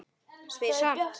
Spyr samt.